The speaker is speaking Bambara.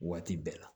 Waati bɛɛ la